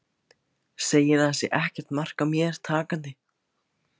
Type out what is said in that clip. Segir að það sé ekkert mark á mér takandi.